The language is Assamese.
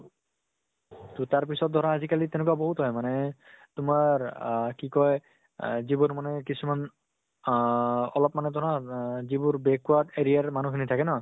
তʼ তাৰ পিছত ধৰা আজি কালি তেনেকুৱা বহুত হয় মানে তোমাৰ আহ কি কয় আহ যি বোৰ মানে কিছুমান আহ অলপ মানে ধৰা ৰা যিবোৰ backward area ৰ মানুহ খিনি থাকে ন